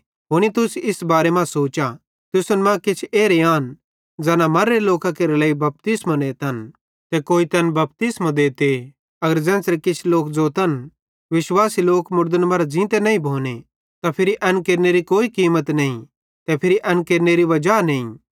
हुनी तुस इस बारे मां सोचा तुसन मां किछ एरे आन ज़ैना मर्रे लोकां केरे लेइ बपतिस्मो नेतन ते कोई तैन बपतिस्मो देते अगर ज़ेन्च़रे किछ लोक ज़ोतन विश्वासी लोक मुड़दन मरां ज़ींते नईं भोने त फिरी एन केरनेरी कोई कीमत नईं ते फिरी एन केरनेरी वजा नईं